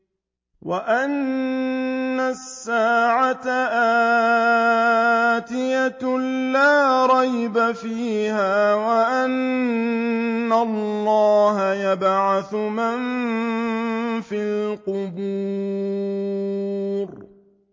وَأَنَّ السَّاعَةَ آتِيَةٌ لَّا رَيْبَ فِيهَا وَأَنَّ اللَّهَ يَبْعَثُ مَن فِي الْقُبُورِ